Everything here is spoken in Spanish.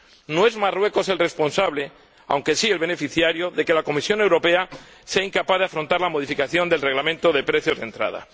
No es Marruecos el responsable, aunque sí el beneficiario, de que la Comisión Europea sea incapaz de afrontar la modificación del Reglamento de precios de entrada.